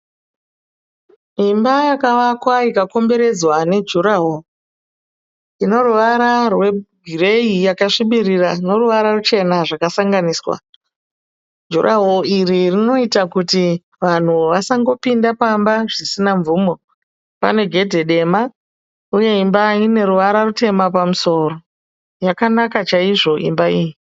Imba yakavakwa ikakomberedzwa ne juraworo. Inoruwara rwe gireyi yakasvibirira noruwara ruchena zvakasanganiswa. Juraworo iri rinoita kuti vanhu vasangopinda pamba zvisina mvumo. Pàne gedhe dema uye imba ine ruwara rutema pamusoro. Yakanaka chaizvo imba iyi.